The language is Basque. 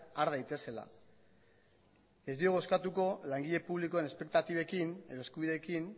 har daitezela ez diogu eskatuko langile publikoen espektatibekin edo eskubideekin